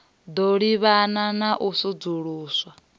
ḓo livhana na u sudzuluswa